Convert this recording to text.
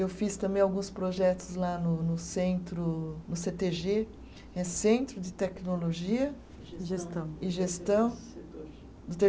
Eu fiz também alguns projetos lá no no centro, no Cê Tê Gê, é Centro de Tecnologia. E Gestão. E gestão. do